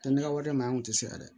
Tɛ ne ka wari mɛ an tun tɛ se a yɛrɛ ye